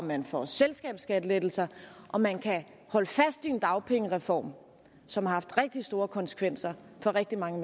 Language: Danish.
man får selskabsskattelettelser og man kan holde fast i en dagpengereform som har haft rigtig store konsekvenser for rigtig mange